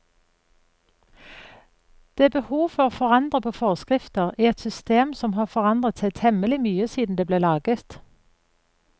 Det er behov for å forandre på forskrifter i et system som har forandret seg temmelig mye siden det ble laget.